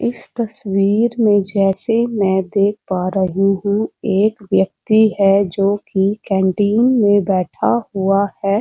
इस तस्वीर में जैसे मैं देख पा रही हूँ। एक व्यक्ति है जोकि केन्टीन में बैठा हुआ है।